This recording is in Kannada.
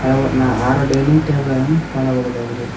ಹಲವು ಆರು ಡೈನಿಂಗ್ ಟೇಬಲ್ ನ್ನು ಕಾಣಬಹುದಾಗಿದೆ.